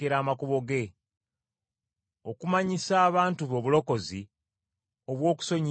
Okumanyisa abantu be obulokozi, obw’okusonyiyibwa ebibi byabwe.